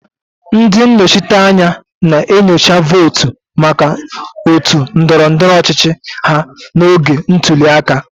Ndị nnọchiteanya na-enyocha votu maka otu ndọrọ ndọrọ ọchịchị ha n'oge ntuli aka.